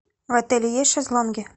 в отеле есть шезлонги